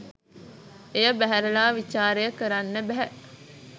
එය බැහැරලා විචාරය කරන්න බැහැ.